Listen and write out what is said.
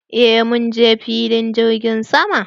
Eh munje filin jirgin sama.